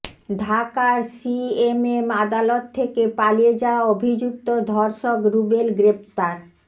ঢাকার সিএমএম আদালত থেকে পালিয়ে যাওয়া অভিযুক্ত ধর্ষক রুবেল গ্রেফতার